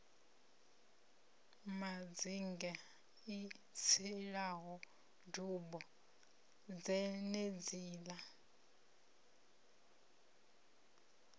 madzinge i tselaho dubo dzenedziḽa